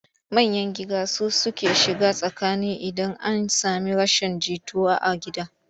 Manyan giga su suke shiga tsakani idan an sami rashin jituwa a gida.